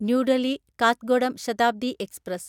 new Delhi Kathgodam Shatabdi express